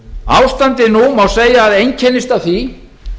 ástandið nú má segja að einkennist af því